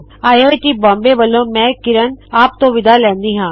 I I T Bombay ਵੱਲੋ ਮੈ ਕਿਰਣ ਆਪ ਤੋ ਵਿਦਾ ਲੈਂਦੀ ਹਾ